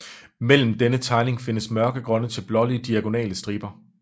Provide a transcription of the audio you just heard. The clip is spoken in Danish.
Mellem denne tegning findes mørkegrønne til blålige diagonale striber